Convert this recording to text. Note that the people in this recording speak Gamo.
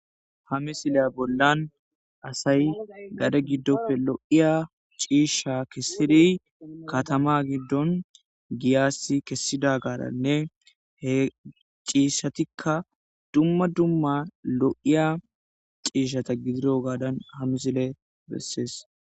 hamisileya bollan asay gade giddopfe lo7iya ciishsha kessiri katama giddon giyassi kessida garanne he ciishshatikka dumma dumma lo7iya ciishshata gidiro gaadan hamisile bessees